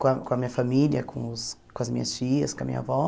com a com a minha família, com os com as minhas tias, com a minha avó.